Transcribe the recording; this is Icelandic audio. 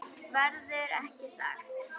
Verður ekki sagt.